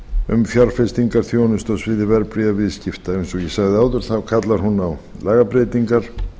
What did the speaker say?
um fjárfestingarþjónustu á sviði verðbréfaviðskipta eins og ég sagði áður kallar hún á lagabreytingar